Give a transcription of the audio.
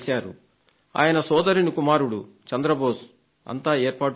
ఆయన సోదరుని కుమారుడు శ్రీ చంద్ర బోస్ అంతా ఏర్పాటుచేశారు